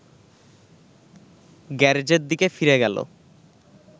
গ্যারেজের দিকে ফিরে গেল